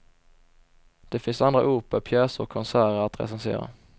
Det finns andra operor, pjäser och konserter att recensera.